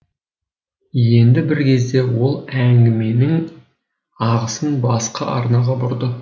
енді бір кезде ол әңгіменің ағысын басқа арнаға бұрды